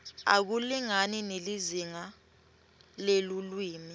akulingani nelizingaa lelulwimi